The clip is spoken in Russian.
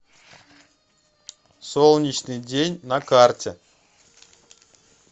солнечный день на карте